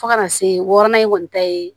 Fo ka na se wɔɔrɔnan in kɔni ta ye